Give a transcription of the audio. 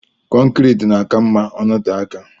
kọncrit na aka ma ọnọte aka.